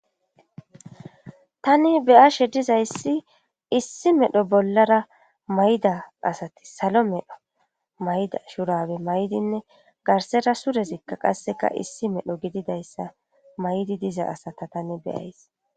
Tani beyashe dizayssi issi medho bollara mayda asati salo medho mayda shurawe maydinne garsera surezikka qasseka issi medho gididayssa maydi diza asata tani beyays.